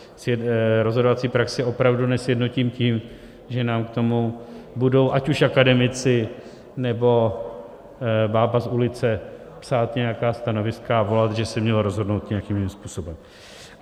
Rozhodovací praxi opravdu nesjednotím tím, že nám k tomu budou ať už akademici, nebo bába z ulice psát nějaká stanoviska a volat, že se mělo rozhodnout nějakým jiným způsobem.